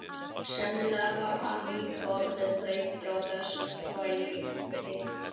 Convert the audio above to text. Sennilega var hann líka orðinn þreyttur á þessum þvælingi.